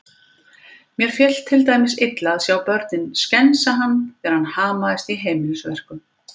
Mér féll til dæmis illa að sjá börnin skensa hann þegar hann hamaðist í heimilisverkum.